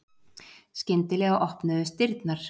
Skyndilega opnuðust dyrnar.